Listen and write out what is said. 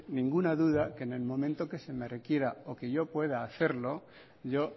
ninguna duda que en el momento en el que se me requiera o que yo pueda hacerlo yo